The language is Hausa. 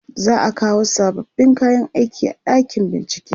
za'a kawo sababbin kayan aiki a ɗakin bincike